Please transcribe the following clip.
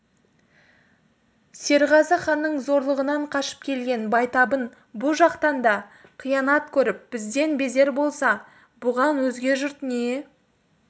серғазы ханның зорлығынан қашып келген байтабын бұ жақтан да қиянат көріп бізден безер болса бұған өзге жұрт не